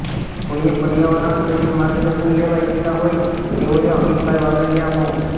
કોઇએ પર્યાવરણ પ્રેમી માર્ગદર્શન લેવા ઇચ્છતા હોય તેઓએ અમીતભાઇ વાડલીયા મો